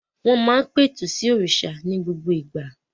Wọ́n má ń pẹ̀tù sí òrìṣà ní gbogbo ìgbà